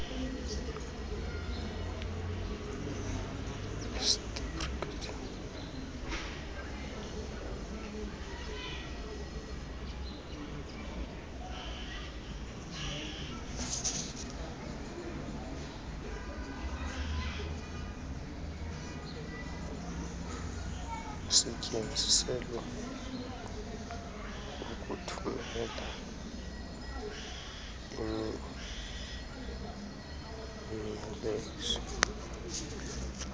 isetyenziselwa ukuthumela imiyalezo